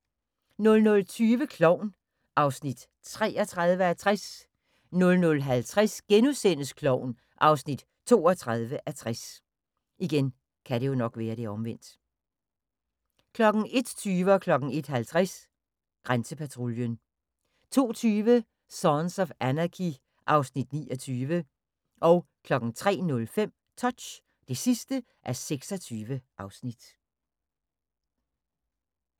00:20: Klovn (33:60) 00:50: Klovn (32:60)* 01:20: Grænsepatruljen 01:50: Grænsepatruljen 02:20: Sons of Anarchy (Afs. 29) 03:05: Touch (26:26)